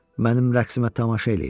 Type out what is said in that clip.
Mənim rəqsimə tamaşa eləyin.